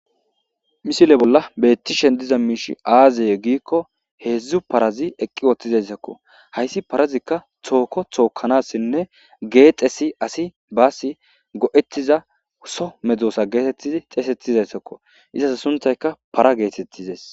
Misile bolla beettishen diza miishi aaziye giikko heedzdzu parazi eqqi wothtizayssakko hayssi parazikka tooko thookanassinne geexesi asi baasi go7etiza so medzosa geetettizi xeesettizayssakko izas suntayka para geetettizees.